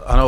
Ano.